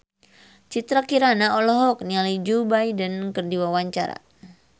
Citra Kirana olohok ningali Joe Biden keur diwawancara